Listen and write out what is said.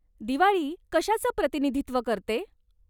दिवाळी कशाचं प्रतिनिधित्व करते?